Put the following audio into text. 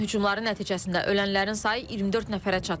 İranın hücumları nəticəsində ölənlərin sayı 24 nəfərə çatıb.